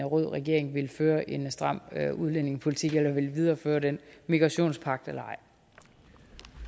rød regering vil føre en stram udlændingepolitik eller vil videreføre den migrationspagt eller